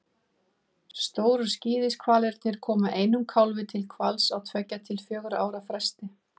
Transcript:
Stóru skíðishvalirnir koma einum kálfi til hvals á tveggja til fjögurra ára fresti.